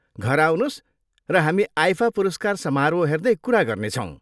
घर आउनुहोस् र हामी आइफा पुरस्कार समारोह हेर्दै कुरा गर्नेछौँ।